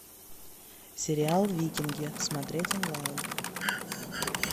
сериал викинги смотреть онлайн